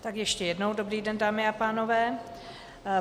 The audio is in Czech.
Tak ještě jednou dobrý den, dámy a pánové.